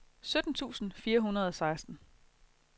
sytten tusind fire hundrede og seksten